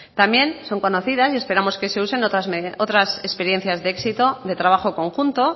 también son conocidas y esperamos que se usen otras experiencias de éxito de trabajo conjunto